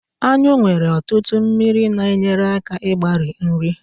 anyụ nwere ọtụtụ mmiri na-enyere aka mgbari nri